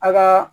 A ka